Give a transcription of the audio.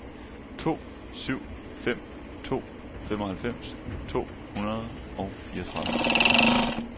to syv fem to femoghalvfems to hundrede og fireogtredive